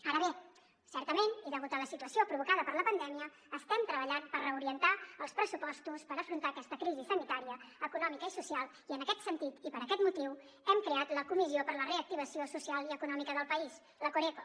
ara bé certament i degut a la situació provocada per la pandèmia estem treballant per reorientar els pressupostos per afrontar aquesta crisi sanitària econòmica i social i en aquest sentit i per aquest motiu hem creat la comissió per a la reactivació social i econòmica del país la coreco